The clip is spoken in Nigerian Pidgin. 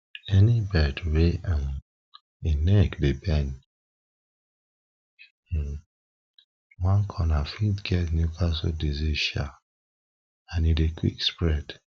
any bird wey um e neck dey bend um one corner fit get newcastle disease um and e dey quick spread